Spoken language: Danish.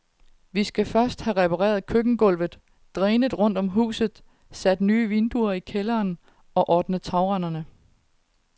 Vi skal først have repareret køkkengulvet, drænet rundt om huset, sat nye vinduer i kælderen og ordne tagrenderne.